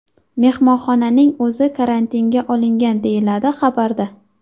Mehmonxonaning o‘zi karantinga olingan”, deyiladi xabarda.